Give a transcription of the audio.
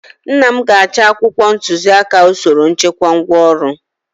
nna m ga-achọ akwụkwọ ntuziaka usoro nchekwa ngwaọrụ